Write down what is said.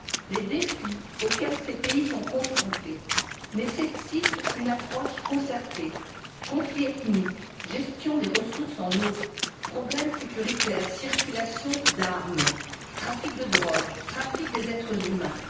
Les défis auxquels ces pays sont confrontés nécessitent une approche concertée conflits ethniques, gestion des ressources en eau, problèmes sécuritaires, circulation d'armes, trafic de drogue, traite des êtres humains.